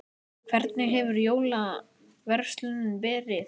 Hvernig hefur jólaverslunin verið?